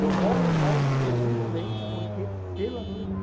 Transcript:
Eu moro lá exclusivamente porque pela minha mãe.